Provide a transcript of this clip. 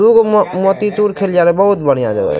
दू गो मो मोती चूर खेलिया रहे बहुत बढ़िया जगह --